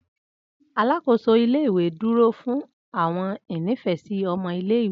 Alakoso ile-iwe duro fun awọn inifẹsi ọmọ ile-iwe.